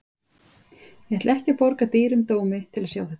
Ég ætla ekki að borga dýrum dómi til að sjá þetta.